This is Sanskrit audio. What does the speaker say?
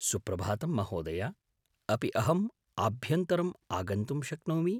सुप्रभातं महोदय! अपि अहम् आभ्यन्तरम् आगन्तुं शक्नोमि ?